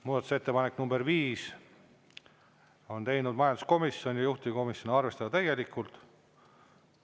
Muudatusettepaneku nr 5 on teinud majanduskomisjon ja juhtivkomisjon: arvestada täielikult.